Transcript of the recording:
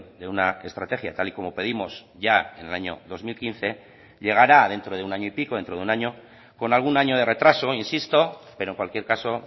de una estrategia tal y como pedimos ya en el año dos mil quince llegará dentro de un año y pico dentro de un año con algún año de retraso insisto pero en cualquier caso